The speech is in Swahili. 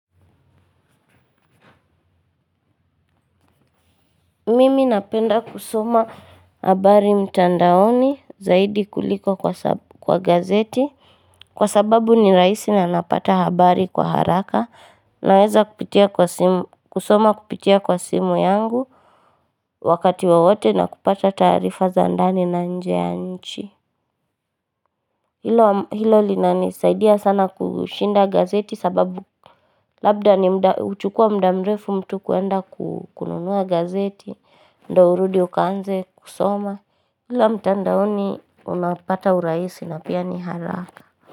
Mimi napenda kusoma habari mtandaoni zaidi kuliko kwa gazeti, kwa sababu ni rahisi na napata habari kwa haraka. Naweza kusoma kupitia kwa simu yangu wakati wowote na kupata taarifa za ndani na nje ya nchi. Hilo linanisaidia sana kushinda gazeti sababu labda huchukua muda mrefu mtu kwenda kununua gazeti. Ndio urudi ukaanze kusoma ila mtandaoni unapata urahisi na pia ni haraka.